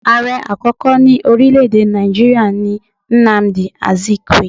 Ààre àkókò ní orílẹ́ èdè Nàìjíríà ni Nnamdi Azikiwe